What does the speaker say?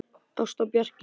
Ásta og Bjarki.